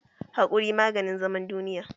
Haƙuri maganin zaman duniya